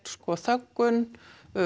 þöggun